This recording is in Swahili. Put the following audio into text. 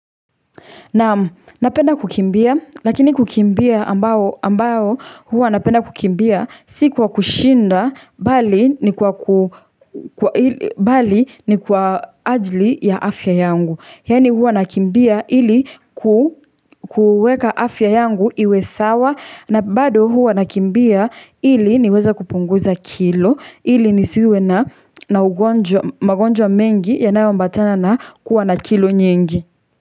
Naam napenda kukimbia lakini kukimbia ambayo huwa napenda kukimbia si kwa kushinda bali ni kwa bali ni kwa ajli ya afya yangu. Yaani huwa nakimbia ili kueka afya yangu iwe sawa na bado huwa nakimbia ili niweza kupunguza kilo ili nisiwe na ugonjwa magonjwa mengi yanayo ambatana na kuwa na kilo nyingi.